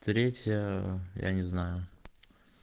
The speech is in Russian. третья я не знаю